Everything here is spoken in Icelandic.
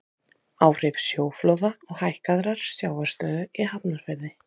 Áhrif sjóflóða og hækkaðrar sjávarstöðu í Hafnarfirði.